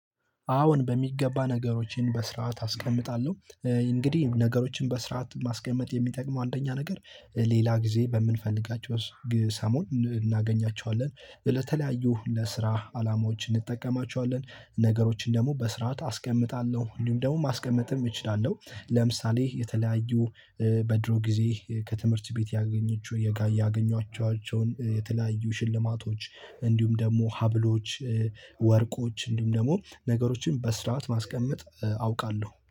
አዎን በሚገባ ነገሮችን በስርዓት አስቀምጣለሁ። እንግዲህ ነገሮችን በስርዓት ማስቀመጥ የሚጠቅመው አንደኛ ነገር ሌላ ጊዜ በምንፈልጋቸው ሰሞን እናገኛቸዋለን ለተለያዩ ለስራ አላማዎች እንጠቀማቸዋለን። ነገሮችን ደሞ በስርዓት አስቀምጣለሁ እንዲሁም ደሞ ማስቀመጥም እችላለሁ። ለምሳሌ የተለያዩ በድሮ ጊዜ ከትምህርት ቤት ያገኘችው የጋይ ያገኟቸውን የተለያዩ ሽልማቶች እንዲሁም ደሞ ሀብሎች ወርቆች እንዲሁም ደሞ ነገሮችን በስርዓት ማስቀመጥ አውቃለሁ